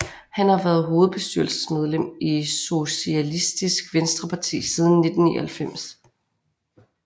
Han har været hovedbestyrelsesmedlem i Sosialistisk Venstreparti siden 1999